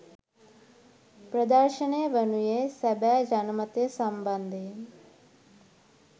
ප්‍රදර්ශනය වනුයේ සැබෑ ජනමතය සම්බන්ධයෙන්